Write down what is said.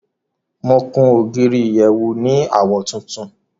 Mo kun ogírí ìyẹ̀wù ní awọ̀ tùntún.